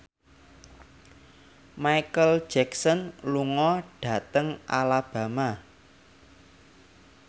Micheal Jackson lunga dhateng Alabama